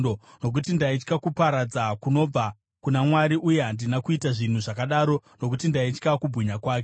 Nokuti ndaitya kuparadza kunobva kuna Mwari, uye handina kuita zvinhu zvakadaro nokuti ndaitya kubwinya kwake.